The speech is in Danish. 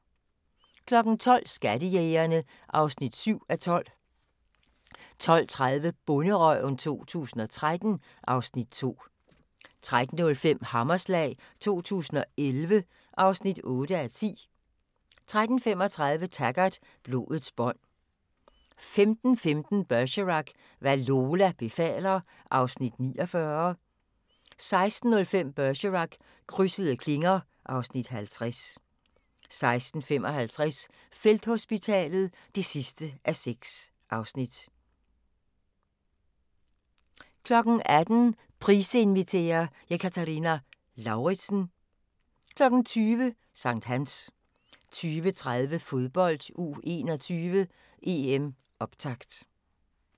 12:00: Skattejægerne (7:12) 12:30: Bonderøven 2013 (Afs. 2) 13:05: Hammerslag 2011 (8:10) 13:35: Taggart: Blodets bånd 15:15: Bergerac: Hvad Lola befaler (Afs. 49) 16:05: Bergerac: Krydsede klinger (Afs. 50) 16:55: Felthospitalet (6:6) 18:00: Price inviterer – Ekaterina Lauritsen 20:00: Sankthans 20:30: Fodbold: U21 - EM - Optakt